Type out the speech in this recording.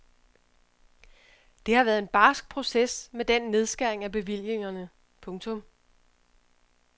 Det har været en barsk proces med den nedskæring af bevillingerne. punktum